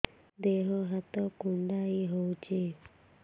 ଦେହ ହାତ କୁଣ୍ଡାଇ ହଉଛି